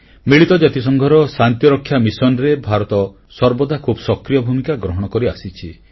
ମିଳିତ ଜାତିସଂଘର ଶାନ୍ତିରକ୍ଷା ମିଶନରେ ଭାରତ ସର୍ବଦା ଖୁବ୍ ସକ୍ରିୟ ଭୂମିକା ଗ୍ରହଣ କରିଆସିଛି